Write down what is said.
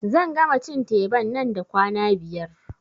Zan gama cin teban nan da kwana biyar